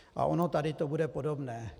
A ono tady to bude podobné.